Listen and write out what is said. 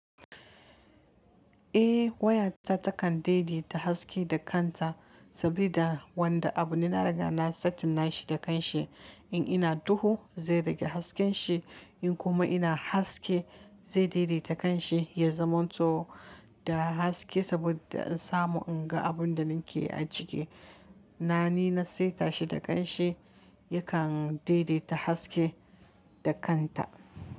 Eh waya takan daidaita haske da kanta saboda wanda abune na riga na saituna shi da kanshi. In ina duhu zai rage hasken shi, in kuma ina haske zai daidaita kanshi ya zaman to da haske saboda in samu in ga abun da nake a ciki. Na ni na saita shi da kanshi yakan daidaita haske da kanta.